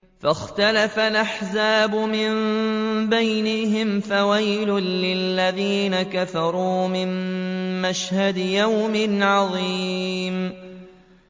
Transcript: فَاخْتَلَفَ الْأَحْزَابُ مِن بَيْنِهِمْ ۖ فَوَيْلٌ لِّلَّذِينَ كَفَرُوا مِن مَّشْهَدِ يَوْمٍ عَظِيمٍ